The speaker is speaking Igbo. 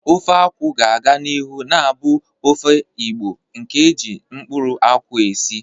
Ofe akwu ga-aga n'ihu na-abụ ofe Igbo nke e ji mkpụrụ nkwụ esi.